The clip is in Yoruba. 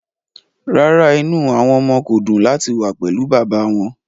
Rárá, inú àwọn ọmọ kò dùn láti wà pẹ̀lú bàbá wọn